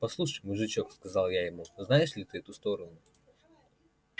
послушай мужичок сказал я ему знаешь ли ты эту сторону